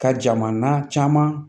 Ka jamana caman